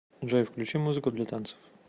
джой включи музыку для танцев